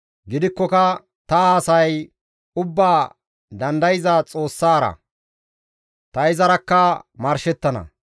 Gidikkoka ta haasayay ubbaa dandayza Xoossara; ta izarakka marshettana.